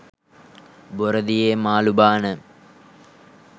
බොර දියේ මාළු බාන